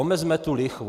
Omezme tu lichvu.